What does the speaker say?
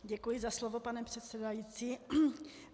Děkuji za slovo, pane předsedající.